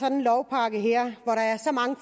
en lovpakke her